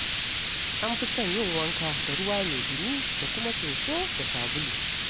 An fi son yin wanka da ruwa mai ɗumi da kuma soso da sabulu.